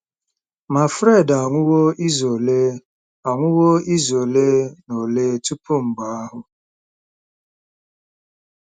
Ma, Fred anwụwo izu ole anwụwo izu ole na ole tupu mgbe ahụ.